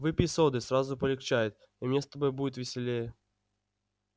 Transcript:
выпей соды сразу полегчает и мне с тобою будет веселее